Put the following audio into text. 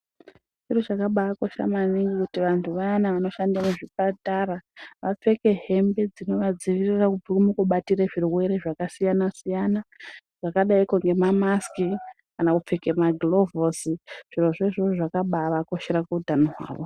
Chiro chakabakosha maNingi kuti vantu vayana vanoshanda muzvipatara apfeke hembe dzinovadziirira kubva mukubatire muzvirwere zvakasiyana siyana zvakadaikwo ngeemamasiki kana Kupfeka magilovhosi zviro zvo zvakabaavakoshera kuutano hwavo.